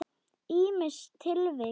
Ýmis tilvik.